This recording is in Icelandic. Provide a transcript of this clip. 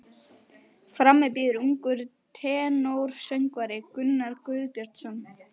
Frammi bíður ungur tenórsöngvari, Gunnar Guðbjörnsson.